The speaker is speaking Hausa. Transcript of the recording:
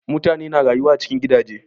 Mutane na rayuwa a cikin gidaje.